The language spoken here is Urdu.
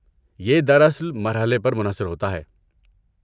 یہ دراصل مرحلے پر منحصر ہوتا ہے۔